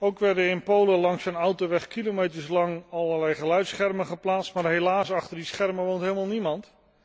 Ook werden in Polen langs een autoweg kilometers lang allerlei geluidsschermen geplaatst, maar helaas, achter die schermen woont helemaal niemand!